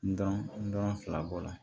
N dɔn n dɔn fila bɔla